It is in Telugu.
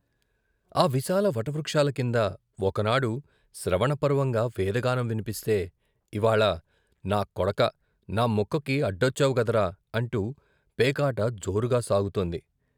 ఆ విశాల వటవృక్షాల కింద, ఒకనాడు శ్రవణ పర్వంగా వేద గానం వినిపిస్తే, ఇవ్వాళ నా కొడకా నా ముక్కకి అడ్డొచ్చావు గదరా అంటూ పేకాట జోరుగా సాగుతోంది..